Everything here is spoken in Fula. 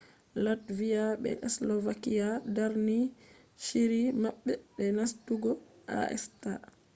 latviya be slovakiya darni shiri maɓɓe je nastugo acta